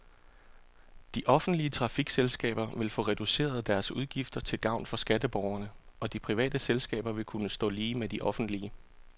De offentlige trafikselskaber vil få reduceret deres udgifter til gavn for skatteborgerne, og de private selskaber vil kunne stå lige med de offentlige.